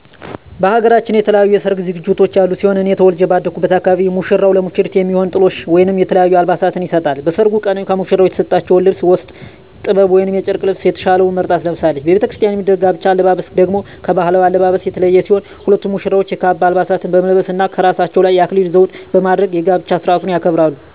በሃገራችን የተለያዩ የሰርግ ዝግጅቶች ያሉ ሲሆን እኔ ተወልጀ ባደኩበት አካባቢ ሙሽራው ለሙሽሪት የሚሆን ጥሎሽ ወይም የተለያዩ አልባሳትን ይሰጣል። በሰርጉ ቀንም ከሙሽራው የተሰጠችውን ልብስ ውስጥ ጥበብ ወይም የጨርቅ ልብሰ የተሻለውን መርጣ ትለብሳለች። በቤተክርስቲያን የሚደረግ የጋብቻ አለባበስ ደግሞ ከባህላዊው አለባበስ የተለየ ሲሆን ሁለቱም ሙሽራዎች የካባ አልባሳትን በመልበስ እና ከራሳቸው ላይ የአክሊል ዘውድ በማድረግ የጋብቻ ስርአቱን ያከብራሉ።